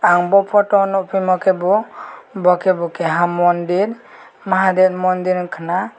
ang bo photo nog phimakhe bo bokebo kaha mandir mahadev mandir wngkha na.